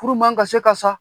Furu man ka se ka sa